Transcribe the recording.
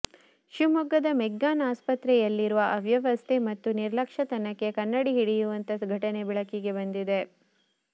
ಶಿವಮೊಗ್ಗದ ಮೆಗ್ಗಾನ್ ಆಸ್ಪತ್ರೆಯಲ್ಲಿರುವ ಅವ್ಯವಸ್ಥೆ ಮತ್ತು ನಿರ್ಲಕ್ಷ್ಯತನಕ್ಕೆ ಕನ್ನಡಿ ಹಿಡಿಯುವಂಥ ಘಟನೆ ಬೆಳಕಿಗೆ ಬಂದಿದೆ